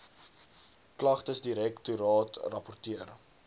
klagtesdirek toraat rapporteer